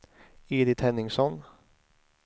Edit Henningsson